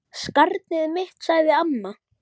Skarnið mitt, sagði amma.